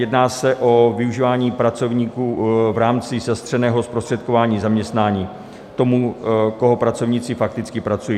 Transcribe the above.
Jedná se o využívání pracovníků v rámci zastřeného zprostředkování zaměstnání tomu, koho pracovníci fakticky pracují.